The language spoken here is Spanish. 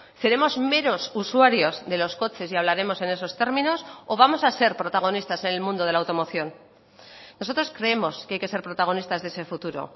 seremos meros usuarios de los coches y hablaremos en esos términos o vamos a ser protagonistas en el mundo de la automoción nosotros creemos que hay que ser protagonistas de ese futuro